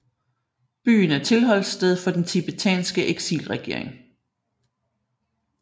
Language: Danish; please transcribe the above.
Byen er tilholdssted for den tibetanske eksilregering